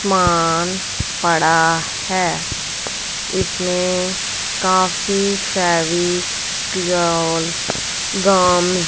मान पड़ा है इसमें काफी फेविकोल गम --